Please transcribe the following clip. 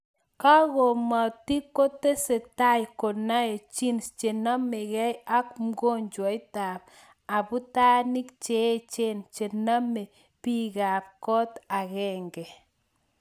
Kingamotik kotesetae konai genes chenamekei ak mokoknjotab aputanik cheechen chename biikab koot akenge